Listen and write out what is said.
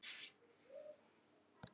Við getum líka hjálpað ykkur með það